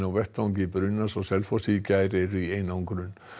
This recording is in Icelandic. á vettvangi brunans á Selfossi í gær eru í einangrun